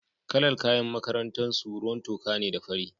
Kalar kayan makarantar su ruwan toka ne da fari.